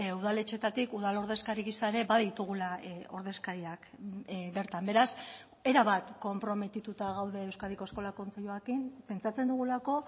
udaletxeetatik udal ordezkari gisa ere baditugula ordezkariak bertan beraz erabat konprometituta gaude euskadiko eskola kontseiluarekin pentsatzen dugulako